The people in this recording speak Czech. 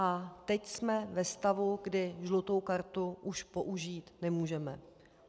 A teď jsme ve stavu, kdy žlutou kartu už použít nemůžeme.